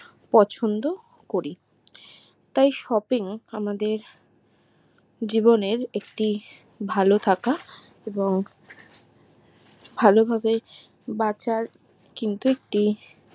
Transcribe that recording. পছন্দ করি তাই shopping আমাদের জীবনের একটি ভালো থাকা এবং ভালো ভাবে বাঁচার কিন্তু একটি